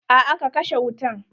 A'a ka kashe wutan.